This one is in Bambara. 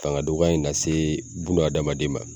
Fanga dɔgɔya in lase adamaden ma.